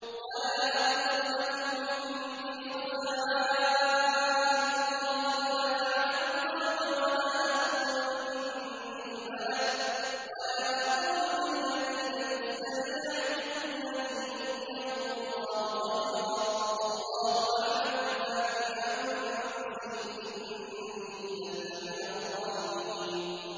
وَلَا أَقُولُ لَكُمْ عِندِي خَزَائِنُ اللَّهِ وَلَا أَعْلَمُ الْغَيْبَ وَلَا أَقُولُ إِنِّي مَلَكٌ وَلَا أَقُولُ لِلَّذِينَ تَزْدَرِي أَعْيُنُكُمْ لَن يُؤْتِيَهُمُ اللَّهُ خَيْرًا ۖ اللَّهُ أَعْلَمُ بِمَا فِي أَنفُسِهِمْ ۖ إِنِّي إِذًا لَّمِنَ الظَّالِمِينَ